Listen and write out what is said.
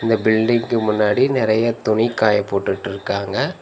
இந்த பில்டிங்கு முன்னாடி நெறையா துணி காய போட்டுட்டுருக்காங்க.